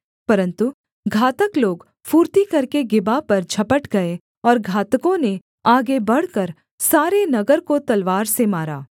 परन्तु घातक लोग फुर्ती करके गिबा पर झपट गए और घातकों ने आगे बढ़कर सारे नगर को तलवार से मारा